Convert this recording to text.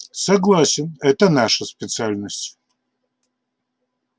согласен это наша специальность